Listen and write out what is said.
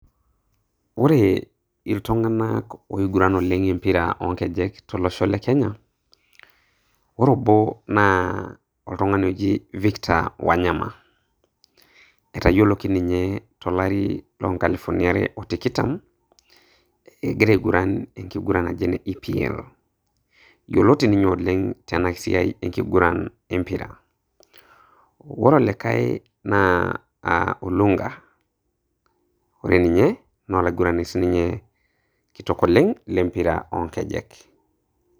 Ore iltunganak ooiguran empira oonkejek tolosho le kenya ,ore obo naa oltung'ani oji victor Wanyama, etayioloki ninye tolari loonkalifuni are otikitam egita aiguran ankiguran naji ene EPL yioloti ninye tenasiai empira ore olikae naa Olunga ore ninye naa olaigurani siininye kitok oleng lempira oonkejek